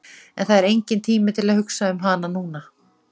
En það er enginn tími til að hugsa um hana núna.